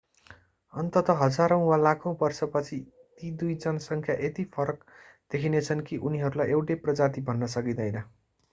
अन्ततः हजारौँ वा लाखौँ वर्षपछि ती दुई जनसङ्ख्या यति फरक देखिनेछन् कि उनीहरूलाई एउटै प्रजाति भन्न सकिदैँन